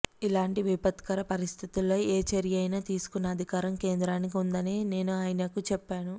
ఇలాంటి విపత్కర పరిస్థితుల్లో ఏ చర్య అయినా తీసుకునే అధికారం కేంద్రానికి ఉందని నేను ఆయనకు చెప్పాను